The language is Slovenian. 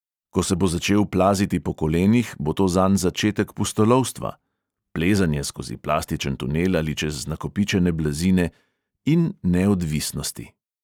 Ko se bo začel plaziti po kolenih, bo to zanj začetek pustolovstva (plezanje skozi plastičen tunel ali čez nakopičene blazine) in neodvisnosti.